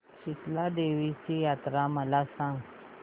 शितळा देवीची जत्रा मला सांग